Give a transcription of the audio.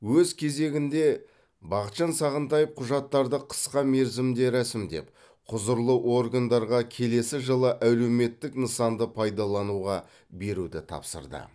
өз кезегінде бақытжан сағынтаев құжаттарды қысқа мерзімде рәсімдеп құзырлы органдарға келесі жылы әлеуметтік нысанды пайдалануға беруді тапсырды